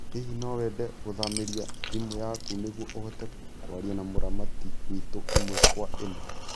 Hihi no wende ngũthamĩrie thimũ yaku nĩguo ũhote kwaria na mũramati witũ ĩmwe kwa ĩmwe?